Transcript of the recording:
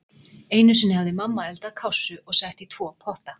Einu sinni hafði mamma eldað kássu og sett í tvo potta.